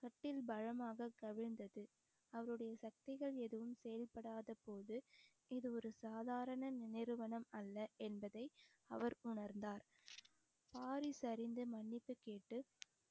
கட்டில் பலமாக கவிழ்ந்தது அவருடைய சக்திகள் எதுவும் செயல்படாத போது இது ஒரு சாதாரண நினைவு வனம் அல்ல என்பதை அவர் உணர்ந்தார் வாரிசு அறிந்து மன்னிப்பு கேட்டு